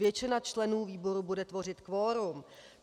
Většina členů výboru bude tvořit kvorum.